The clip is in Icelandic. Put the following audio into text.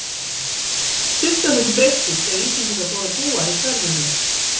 Sumt af þessu breyttist þegar Íslendingar fóru að búa í hverfunum.